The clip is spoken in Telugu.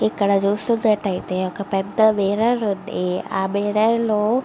ఇక్కడ చూస్తున్నట్టయితే ఒక పెద్ద మిర్రర్ ఉంది ఆ మిర్రర్ లో --